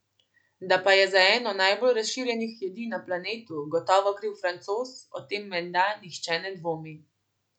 Da pa je za eno najbolj razširjenih jedi na planetu gotovo kriv Francoz, o tem menda nihče ne dvomi.